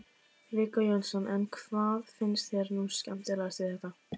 Viggó Jónsson: En hvað finnst þér nú skemmtilegast við þetta?